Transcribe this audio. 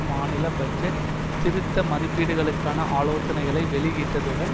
மாநில பட்ஜெட் திருத்த மதிப்பீடுகளுக்கான ஆலோசனைகளை வெளியிட்டதுடன்